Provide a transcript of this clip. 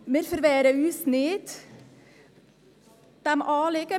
Wir verwehren uns nicht gegen dieses Anliegen.